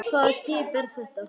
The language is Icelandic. Hvaða skip er þetta?